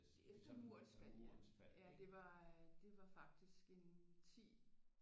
Det er efter murens fald ja ja det var faktisk en 10